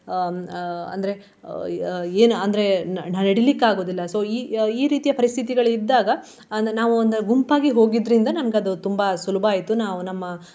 ಹ್ಮ್ ಅಹ್ ಅಂದ್ರೆ ಏನ್ ಅಂದ್ರೆ ನ~ ನಡಿಲಿಕ್ಕೆ ಆಗುವುದಿಲ್ಲ so ಈ ಈ ರೀತಿಯ ಪರಿಸ್ಥಿತಿಗಳಿದ್ದಾಗ ಅಂದ್ರೆ ನಾವು ಒಂದು ಗುಂಪಾಗಿ ಹೋಗಿದ್ರಿಂದ ನಮ್ಗದು ತುಂಬಾ ಸುಲಭಾಯ್ತು ನಾವು ನಮ್ಮ.